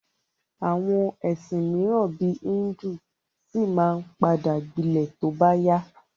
Àwọn ẹ̀sìn míràn bíi híndù ṣì ma padà gbilẹ̀ tí ó bá yá.